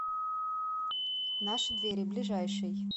наши двери ближайший